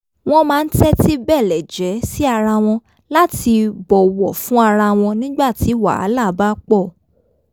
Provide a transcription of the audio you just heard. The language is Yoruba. wọ́n máa ń tẹ́tí bẹ̀lẹ̀jẹ́ sí ara wọn láti bọ̀wọ̀ fún ara wọn nígbà tí wàhálà bá pọ̀